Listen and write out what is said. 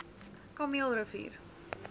kameelrivier